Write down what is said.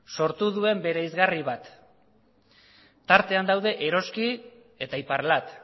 sortu duen bereizgarri bat tartean daude eroski eta iparlat